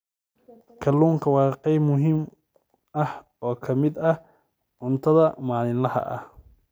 Kalluunku waa qayb muhiim ah oo ka mid ah cuntada maalinlaha ah.